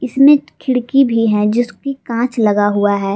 इसमें खिड़की भी है जिसकी कांच लगा हुआ है।